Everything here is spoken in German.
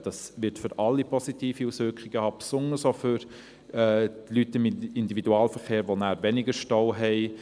Das wird für alle positive Auswirkungen haben, besonders auch für Leute im Individualverkehr, die nachher weniger im Stau stecken.